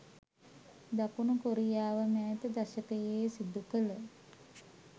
දකුණු කොරියාව මෑත දශකයේ සිදු කළ